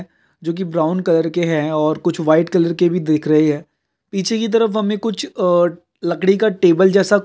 जोकि brown colour के है और कुछ वाइट कलर की भी दिख रही है पीछे की तरफ हमें कुछ आ लकड़ी का टेबल जैसा--